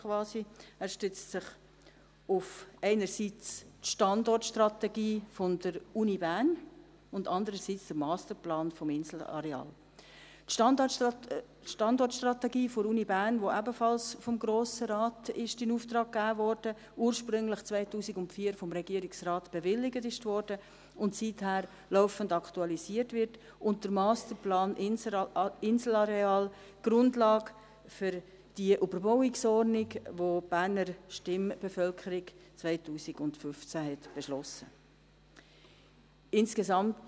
Er stützt sich einerseits auf die Standortstrategie der Uni Bern und andererseits auf den Masterplan des Inselareals: die Standortstrategie der Uni Bern, die ebenfalls vom Grossen Rat in Auftrag gegeben wurde, die ursprünglich 2004 vom Regierungsrat bewilligt wurde und seither laufend aktualisiert wird, und der Masterplan Inselareal, Grundlage für die Überbauungsordnung, welche die Berner Stimmbevölkerung 2015 beschlossen hatte.